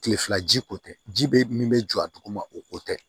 Kile fila ji ko tɛ ji bɛ min bɛ jɔ a duguma o ko tɛ